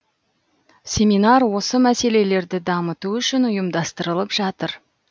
семинар осы мәселелерді дамыту үшін ұйымдастырылып жатыр